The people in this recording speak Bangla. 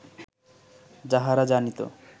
যাহারা জানিত